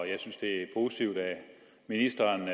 jeg synes det er positivt at ministeren